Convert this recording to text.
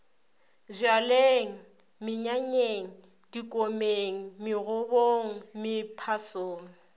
bjalweng menyanyeng dikomeng megobong mephasong